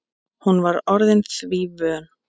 Hún var orðin því vön.